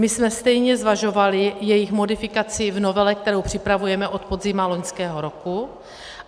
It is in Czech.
My jsme stejně zvažovali jejich modifikaci v novele, kterou připravujeme od podzimu loňského roku.